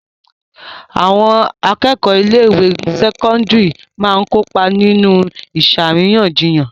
Àwọn akẹ́kọ̀ọ́ ilé-ìwé sẹ́kọ́ndárì máa ń kópa nínú ìṣàríyànjiyàn.